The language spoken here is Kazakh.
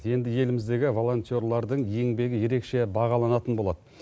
енді еліміздегі волонтерлардың еңбегі ерекше бағаланатын болады